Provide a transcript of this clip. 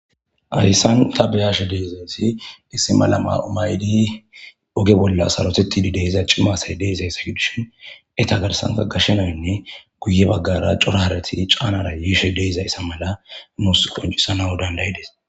Hayssan ta beyashe deezaysi issi mala ma7omaydi oge bolla sarotetidi deiza cimasay deezay sahudishin eta garsanta gashshenaynne guye baggara cora harati caanara yiishe deizayssa mala nuus qoncisa nau dandayides.